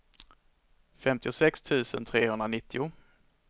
femtiosex tusen trehundranittio